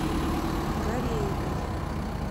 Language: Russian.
гареевой